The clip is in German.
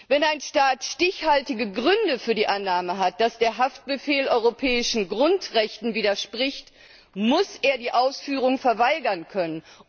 Wenn ein Staat stichhaltige Gründe für die Annahme hat, dass der Haftbefehl europäischen Grundrechten widerspricht, muss er die Ausführung verweigern können.